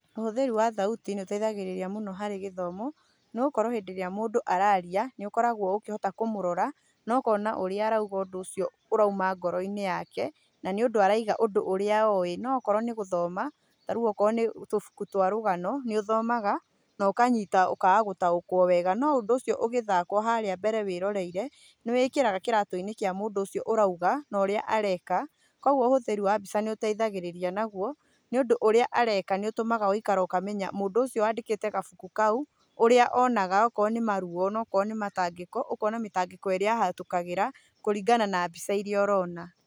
Ũhũthĩri wa thauti nĩũteithagĩrĩria mũno harĩ gĩthomo, nĩgũkorwo hĩndĩ ĩrĩa mũndũ araria, nĩũkoragũo ũkĩhota kũmũrora, na ũkona ũrĩa arauga ũndũ ũcio ũrauma ngoro-inĩ yake, na nĩũndũ arauga ũndũ ũrĩa oĩ. No akorwo nĩ gũthoma, tarĩu akorwo nĩ tubuku twa rũgano, nĩũthomaga, na ũkanyita ũkaga gũtaũkũo wega, no ũndũ ũcio ũgĩthakwo harĩa mbere wĩrore-ire, nĩ wĩĩkĩraga kĩratũ-inĩ kĩa mũndũ ũcio ũrauga, na ũrĩa areka, kuoguo ũhũthĩri wa mbica nĩũteithagĩrĩria naguo, nĩũndũ ũrĩa areka nĩũtũmaga ũgaikara ũkamenya mũndũ ũcio wandĩkĩte gabuku kau, ũrĩa onaga okorwo nĩ maruo, onokorwo nĩ mĩtangĩko, ũkona mĩtangĩko ĩrĩa ahĩtũkagĩra, kũringana na mbica iria ũrona.